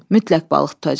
Mütləq balıq tutacam.